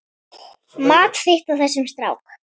Mat þitt á þessum strákum?